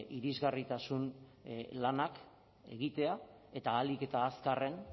irisgarritasun lanak egitea eta ahalik eta azkarren